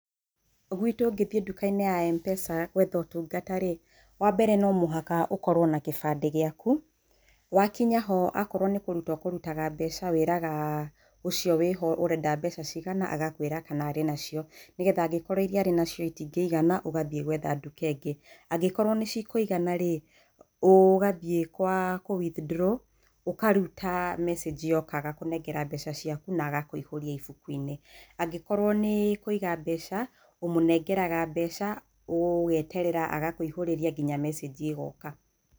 Gwitũ ũngĩthiĩ duka-inĩ ya Mpesa gwetha ũtungata rĩ wa mbere no mũhaka ũkorwo na kĩbandĩ gĩaku, wakinya ho akorwo nĩ kũruta ũkũrutaga mbeca wĩraga ũcio wĩ ho ũrenda mbeca cigana agakwĩra kana arĩ na cio nĩgetha angĩkorwo iria arĩ nacio itingĩigana ũgathiĩ gwetha duka ĩngĩ angĩkorwo nĩ cikũigana rĩ ũgathiĩ gwa kũ withdraw ũkaruta message yoka agakũnengera mbeca ciaku na agakũihũria ibuku-inĩ angĩkorwo nĩ kũiga mbeca ũmũnengeraga mbeca ũgeterera agakũihũrĩria nginya message ĩgoka.